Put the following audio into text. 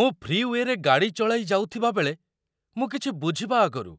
ମୁଁ ଫ୍ରିୱେରେ ଗାଡ଼ି ଚଳାଇ ଯାଉଥିବାବେଳେ ମୁଁ କିଛି ବୁଝିବା ଆଗରୁ